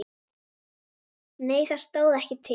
Nei það stóð ekki til.